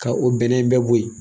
Ka o bɛnɛn bɛɛ bo ye